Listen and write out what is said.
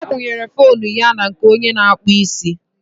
ọ kwụnyere foonu ya na nke onye na-akpụ isi